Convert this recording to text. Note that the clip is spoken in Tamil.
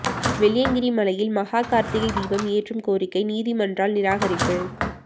வெள்ளியங்கிரி மலையில் மகா கார்த்திகை தீபம் ஏற்றும் கோரிக்கை நீதிமன்றால் நிராகரிப்பு